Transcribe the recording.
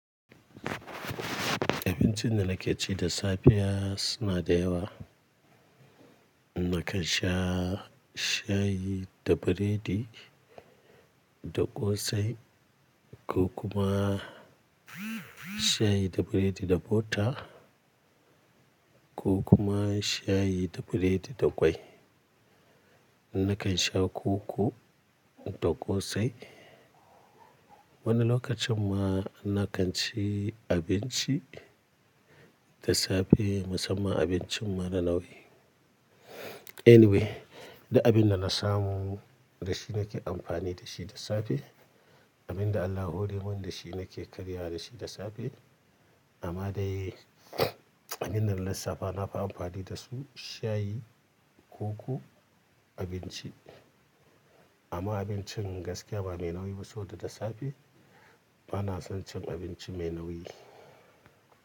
Abincin da na ke ci da sapiya suna da yawa. Nakan sha shayi da biredi da ƙosai ko kuma shayi da biredi da bota ko kuma shayi da biredi da ƙwai. Nakan sha koko da ƙosai. Wani lokacin ma na kan ci abinci da safe, musamman abincin mara nauyi. Anyway, da abin da na samu, da shi na ke amfani da shi da safe. Abin da Allah ya hore mun da shi na ke karya da shi da safe. Amma dai abin da na saba na fi amfani da su, shayi, koko, abinci. Amma abincin gaskiya ba mai nauyi ba saboda da safe. Ba na son cin abinci mai nauyi.